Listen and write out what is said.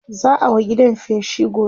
za'a wa gidan feshi gobe